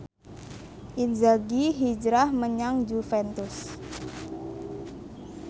Inzaghi hijrah menyang Juventus